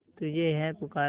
तुझे है पुकारा